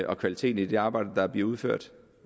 og kvaliteten i det arbejde der bliver udført